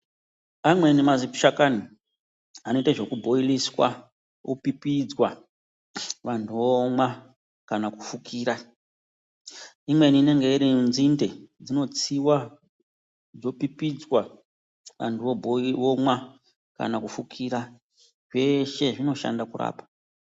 Amweni mazishakani anoite zvekubhoiliswa opipidzwa vanhu vomwa kana kufukira. Imweni inenge iri nzinde, dzinotsiwa dzopipidzwa anhu omwa kana kufukira. Zveshe zvinoshanda kurapa.